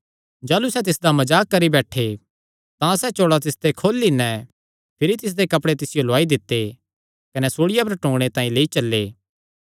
जाह़लू सैह़ तिसदा मजाक करी बैठे तां सैह़ चोल़ा तिसते खोली नैं भिरी तिसदे कपड़े तिसियो लौआई दित्ते कने सूल़िया पर टूंगणे तांई लेई चल्ले